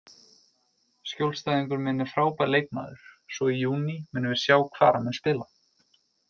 Skjólstæðingur minn er frábær leikmaður, svo í júní munum við sjá hvar hann mun spila.